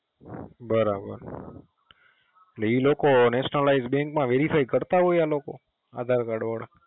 બરાબર એટલે એ લોકો Nationalized bank માં Verify કરતા હોય આ લોકો આધારકાર્ડ વાળા